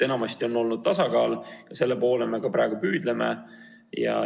Enamasti on olnud tasakaal ja selle poole me ka praegu püüdleme.